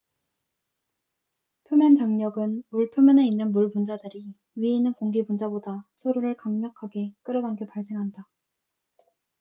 표면 장력은 물 표면에 있는 물 분자들이 위에 있는 공기 분자보다 서로를 더욱 강력하게 끌어당겨 발생한다